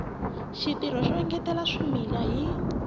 xitirho xo engetela swimila hi